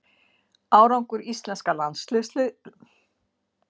Árangur íslenska landsliðsins var meðal umræðuefna.